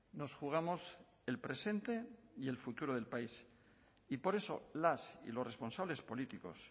nos jugamos el presente y el futuro del país y por eso las y los responsables políticos